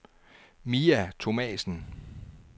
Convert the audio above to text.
Mia Thomasen